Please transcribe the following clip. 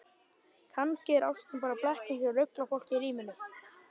Kannski er ástin bara blekking sem ruglar fólk í ríminu.